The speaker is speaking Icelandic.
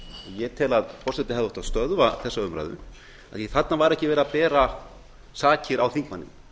ég tel að forseti hefði átt að stöðva þessa umræðu af því að þarna var ekki verið að bera sakir á þingmanninn